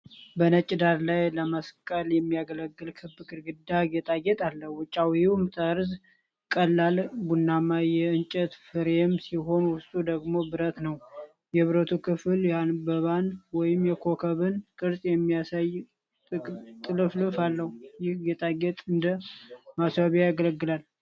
በነጭ ዳራ ላይ ለመስቀል የሚያገለግል ክብ ግድግዳ ጌጣጌጥ አለ። ውጫዊው ጠርዝ ቀላል ቡናማ የእንጨት ፍሬም ሲሆን ውስጡ ደግሞ ብረት ነው። የብረቱ ክፍል የአበባን ወይም የኮከብን ቅርጽ የሚያሳይ ጥልፍልፍ አለው። ይህ ጌጣጌጥ እንደ ማስዋቢያ ያገለግላል?